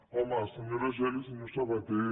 home senyora geli i senyor sabaté